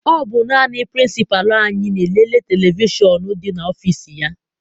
Ọ bụ naanị pirincipalu anyị na e lele televishọn dị n'ọfịịsi ya.